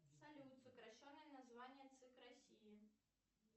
салют сокращенное название цик россии